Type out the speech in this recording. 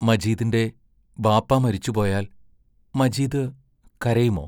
മജീദിന്റെ ബാപ്പാ മരിച്ചുപോയാൽ മജീദ് കരയുമോ?